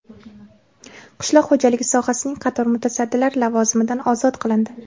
Qishloq xo‘jaligi sohasining qator mutasaddilari lavozimidan ozod qilindi.